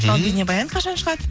ал бейнебаян қашан шығады